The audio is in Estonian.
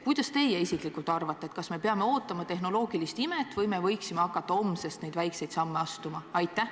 Kuidas teie isiklikult arvate, kas me peame ootama tehnoloogilist imet või me võiksime hakata homsest neid väikseid samme astuma?